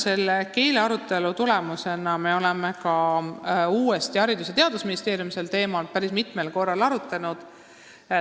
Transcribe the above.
Selle keelearutelu tulemusena me oleme ka Haridus- ja Teadusministeeriumis sel teemal päris mitmel korral uuesti arutanud.